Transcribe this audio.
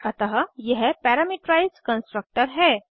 अतः यह parameterised constructor है